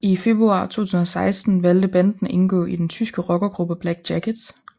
I februar 2016 valgte banden at indgå i den tyske rockergruppe Black Jackets